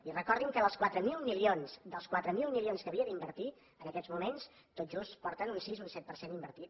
i recordin que dels quatre mil milions dels quatre mil milions que havia d’invertir en aquests moments tot just porten un sis un set per cent invertit